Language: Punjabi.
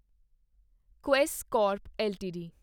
Quess corp LTD